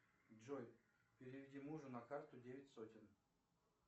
джой переведи мужу на карту девять сотен